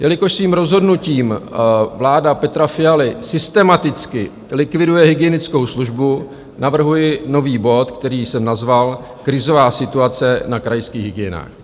Jelikož svým rozhodnutím vláda Petra Fialy systematicky likviduje hygienickou službu, navrhuji nový bod, který jsem nazval Krizová situace na krajských hygienách.